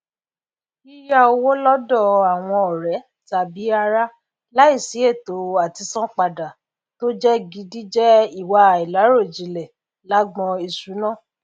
yíyá owó lọdọ àwọn ọrẹ tàbí ará láìsí ètò àtisanan padà tó jẹ gidi jẹ ìwà àìláròjinlẹ lágbọn ìṣúná